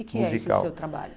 Que que é esse seu trabalho?